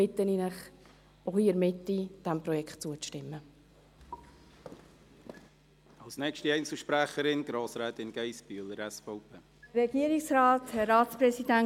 Deshalb bitte ich Sie – auch die Mitte hier –, diesem Projekt zuzustimmen.